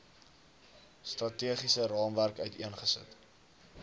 strategiese raamwerk uiteengesit